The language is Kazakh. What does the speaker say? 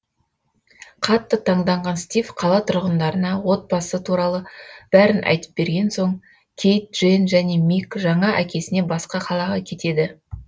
қатты таңданған стив қала тұрғындарына отбасы туралы бәрін айтып берген соң кейт дженн және мик жаңа әкесіне басқа қалаға кетеді